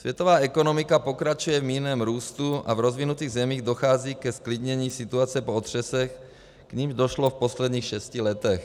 Světová ekonomika pokračuje v mírném růstu a v rozvinutých zemích dochází k zklidnění situace po otřesech, k nimž došlo v posledních šesti letech.